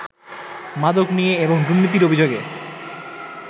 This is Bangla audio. মাদক নিয়ে এবং দুর্নীতির অভিযোগে